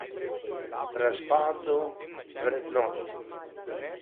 Razpadu vrednot.